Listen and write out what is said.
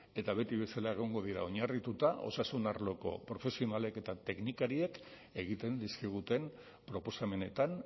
eta beti bezala egongo dira oinarrituta osasun arloko profesionalek eta teknikariek egiten dizkiguten proposamenetan